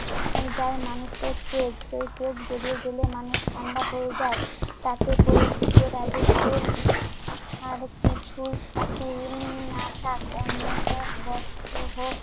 চিন্তায় মানুষটা একটু একটু করে বেরিয়ে গেলে মানুষ ঠান্ডা হয়ে যায়। তাতে করে ভুতের রাজত্বে উম আর কিছু না থাক অন্ন হোক, বস্ত্র হোক,